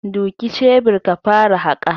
Duki shebir ka fara haƙa.